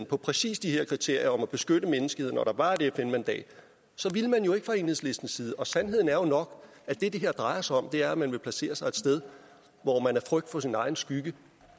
fra præcis de her kriterier om at beskytte menneskeheden og hvor der var et fn mandat ville man jo ikke fra enhedslistens side og sandheden er jo nok at det det her drejer sig om er at man vil placere sig et sted hvor man af frygt for sin egen skygge